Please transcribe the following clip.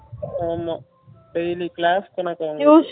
ஆமா daily class க்கனாக்கா அது